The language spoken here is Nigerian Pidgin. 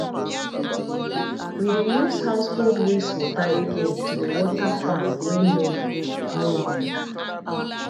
we de use household wastwater again to dey water farm wey no no good